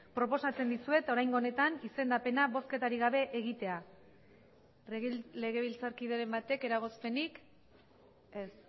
proposatzen dizuet oraingo honetan izendapena bozketarik gabe egitea legebiltzarkideren batek eragozpenik ez